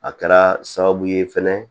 A kɛra sababu ye fɛnɛ